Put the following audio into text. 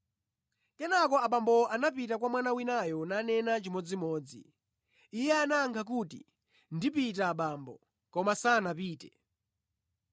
“Kenaka abambowo anapita kwa mwana winayo nanena chimodzimodzi. Iye anayankha kuti, ‘Ndipita abambo,’ koma sanapite.